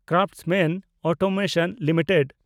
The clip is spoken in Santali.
Craftsman Automation limited